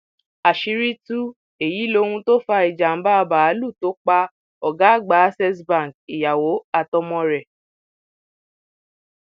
àṣírí tú èyí lóhun tó fa ìjàmbá báàlúù tó pa ọgá àgbà accessbank ìyàwó àtọmọ rẹ